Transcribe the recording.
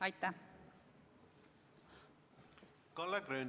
Kalle Grünthal, palun!